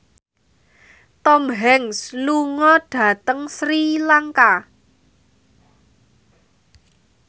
Tom Hanks lunga dhateng Sri Lanka